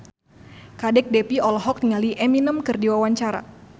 Kadek Devi olohok ningali Eminem keur diwawancara